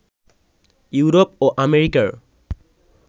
Europe ও আমেরিকার